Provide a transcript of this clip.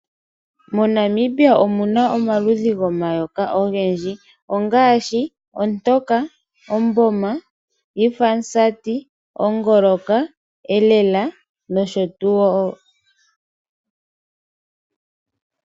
MoNamibia omu na omaludhi gomayoka ga yoolokathana ogendji ongaashi Ontoka, Omboma, Iifoyamusati, Ongolonyoka, Elela nosho tuu.